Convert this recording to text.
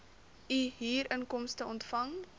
u huurinkomste ontvang